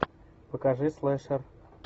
покажи слэшер